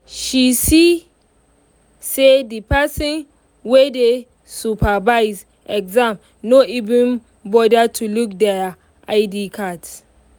she see say the person wey dey supervise exam no even bother to look their id cards.